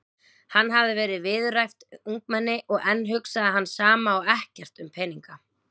Hann hafði verið viðræðuhæft ungmenni og enn hugsaði hann sama og ekkert um peninga.